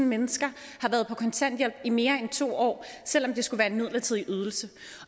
mennesker har været på kontanthjælp i mere end to år selv om det skulle være en midlertidig ydelse